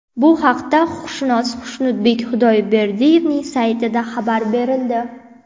Bu haqda huquqshunos Xushnudbek Xudoyberdiyevning saytida xabar berildi .